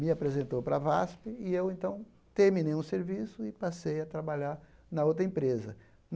Me apresentou para a VASP e eu, então, terminei um serviço e passei a trabalhar na outra empresa.